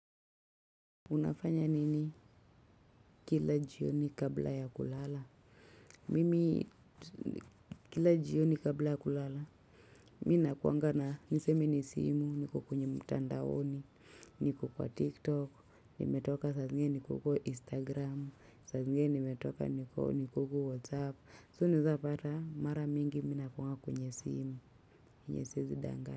Unafanya nini kila jioni kabla ya kulala? Mimi kila jioni kabla ya kulala. Mi nakuanga na nisemi ni simu, niko kwenye mtandaoni, niko kwa tiktok, nimetoka saa zingine niko huko instagram, saa zingine nimetoka niko huko whatsapp. So unawezapata mara mingi mi nakuanga kwenye simu, yenye siwezi danganya.